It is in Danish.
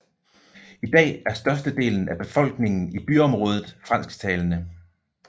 I dag er størstedelen af befolkningen i byområdet fransktalende